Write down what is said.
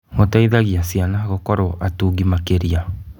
Gũteithagia ciana gũkorwo atungi makĩria.